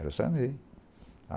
Era o Sarney.